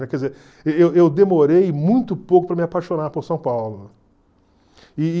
Quer dizer, eu eu demorei muito pouco para me apaixonar por São Paulo. E...